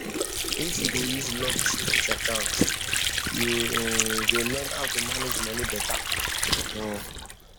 if you dey use locked savings account you um go learn how to manage money better um